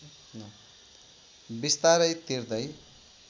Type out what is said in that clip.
बिस्तारै तिर्दै